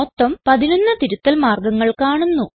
മൊത്തം 11 തിരുത്തൽ മാർഗങ്ങൾ കാണുന്നു